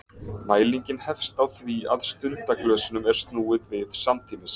Mælingin hefst á því að stundaglösunum er snúið við samtímis.